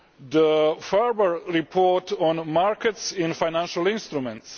the Ferber report on markets in financial instruments